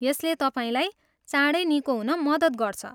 यसले तपाईँलाई चाँडै निको हुन मद्दत गर्छ।